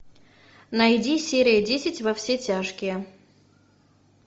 найди серия десять во все тяжкие